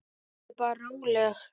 Vertu bara róleg.